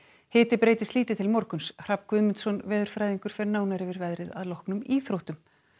hiti breytist lítið til morguns Hrafn Guðmundsson veðurfræðingur fer nánar yfir veðrið að loknum íþróttum